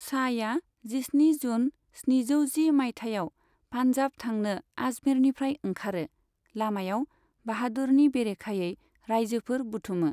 शाहया जिस्नि जुन स्निजौ जि माइथायाव पान्जाब थांनो आजमेरनिफ्राय ओंखारो, लामायाव बाहादुरनि बेरेखायै राइजोफोर बुथुमो।